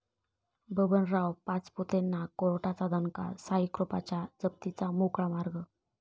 बबनराव पाचपुतेंना कोर्टाचा दणका, 'साईकृपा'च्या जप्तीचा मार्ग मोकळा